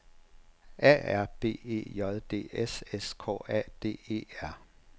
A R B E J D S S K A D E R